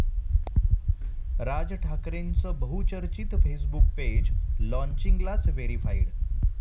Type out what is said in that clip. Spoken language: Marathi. राज ठाकरेंचं बहुचर्चित फेसबुक पेज लॉन्चिंगलाच 'व्हेरिफाईड'!